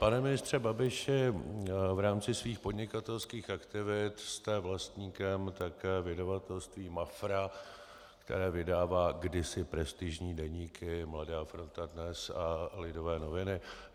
Pane ministře Babiši, v rámci svých podnikatelských aktivit jste vlastníkem také vydavatelství Mafra, které vydává kdysi prestižní deníky Mladá fronta dnes a Lidové noviny.